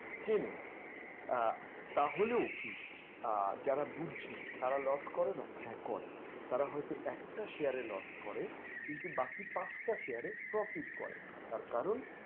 চেনেন আহ তাহলেও কি আহ যারা বুঝছে তারা loss করেনা? হ্যাঁ করে তাঁরা হয়তো একটা share এ loss করে কিন্তু বাকি পাঁচটা share এ profit করে তার কারণ,